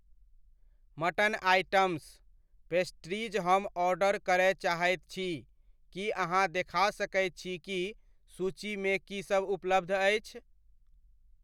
Mutton items , pastries हम order करय चाहैत छी, की अहाँ देखा सकैत छी कि सूचि मे की सब उपलब्ध अछि?